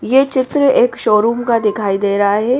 ये चित्र एक शोरूम का दिखाई दे रहा है।